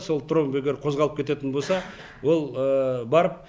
сол тромб егер қозғалып кететін боса ол барып